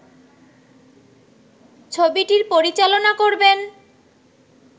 ছবিটির পরিচালনা করবেন